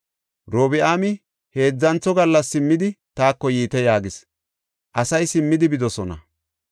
Robi7aami, “Heedzantho gallas simmidi, taako yiite” yaagis. Asay simmidi bidosona.